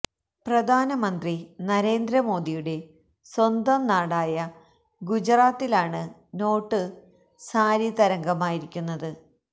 പ്രധാന മന്ത്രി നരേന്ദ്ര മോദിയുടെ സ്വന്തം നാടായ ഗുജറാത്തിലാണ് നോട്ട് സാരി തരംഗമായിരിക്കുന്നത്